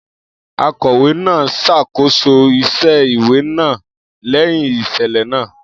Akọ̀wé náà ṣàkóso iṣẹ́ ìwé náà lẹ́yìn ìṣẹ̀lẹ̀ náà.